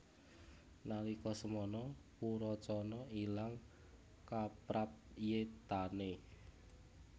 Nalika samana Purocana ilang kaprayitnane